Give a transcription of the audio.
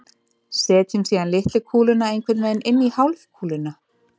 Setjum síðan litlu kúluna einhvern veginn inn í hálfkúluna.